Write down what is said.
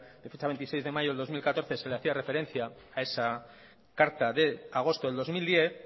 de fecha veintiséis de mayo de dos mil catorce se le hacía referencia a esa carta de agosto del dos mil diez